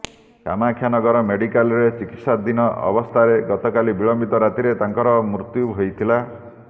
କାମାକ୍ଷାନଗର ମେଡିକାଲରେ ଚିକିତ୍ସାଧିନ ଅବସ୍ଥାରେ ଗତକାଲି ବିଳମ୍ବିତ ରାତିରେ ତାଙ୍କର ମୃତ୍ୟୁ ହୋଇଥିଲା